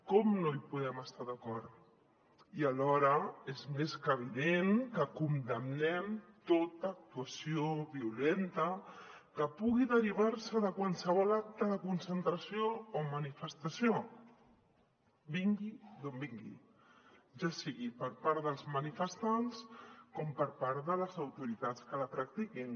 com no hi podem estar d’acord i alhora és més que evident que condemnem tota actuació violenta que pugui derivar se de qualsevol acte de concentració o manifestació vingui d’on vingui ja sigui per part dels manifestants com per part de les autoritats que la practiquin